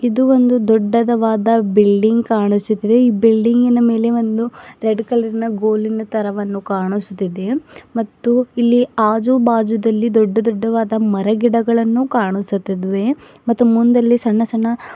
ಇದು ಒಂದು ದೊಡ್ಡದವಾದ ಬಿಲ್ಡಿಂಗ್ ಕಾಣಿಸುತ್ತಿದೆ ಈ ಬಿಲ್ಡಿಂಗ್ ಇನ ಮೇಲೆ ಒಂದು ರೆಡ್ ಕಲರ್ ಇನ ಗೋಲಿನ ತರಹವನ್ನು ಕಾಣಿಸುತ್ತಿದೆ ಮತ್ತು ಇಲ್ಲಿ ಆಜು ಬಾಜು ದಲ್ಲಿ ದೊಡ್ಡ ದೊಡ್ಡ ವಾದ ಮರಗಿಡಗಳನ್ನು ಕಾಣಿಸುತ್ತಿದ್ವೆ ಮತ್ತು ಮುಂದಲ್ಲಿ ಸಣ್ಣ ಸಣ್ಣ --